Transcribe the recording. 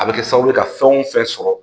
A bɛ kɛ sababu ye ka fɛn o fɛn sɔrɔ